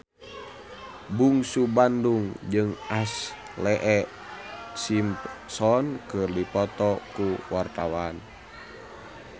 Bungsu Bandung jeung Ashlee Simpson keur dipoto ku wartawan